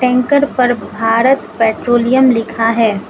Tanker पर Bharat Petroleum लिखा है।